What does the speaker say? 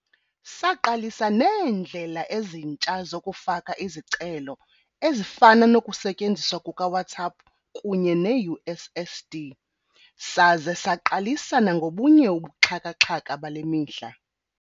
Saqalisa neendlela ezintsha zokufaka izicelo ezifana nokusetyenziswa kukaWhatsApp kunye neUSSD, saze saqalisa nangobunye ubuxhaka-xhaka bale mihla.